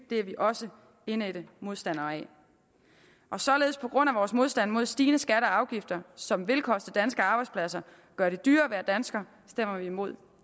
det er vi også indædt modstandere af således på grund af vores modstand mod stigende skatter og afgifter som vil koste danske arbejdspladser gøre det dyrere at være dansker stemmer vi imod